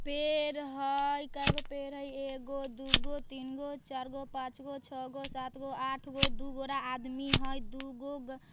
पेड़ हाय कयगो पेड़ हाय एगो दूगो तीनगो चारगो पांचगो छः गो सातगो आठगो दू गोरा आदमी हैय दूगो --